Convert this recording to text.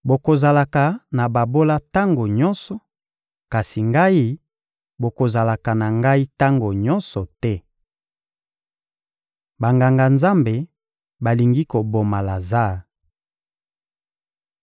Bokozalaka na babola tango nyonso; kasi Ngai, bokozalaka na Ngai tango nyonso te. Banganga-Nzambe balingi koboma Lazare